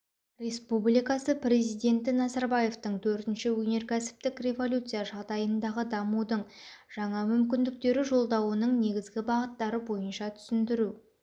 республикасы президенті назарбаевтың төртінші өнеркәсіптік революция жағдайындағы дамудың жаңа мүмкіндіктері жолдауының негізгі бағыттары бойынша түсіндіру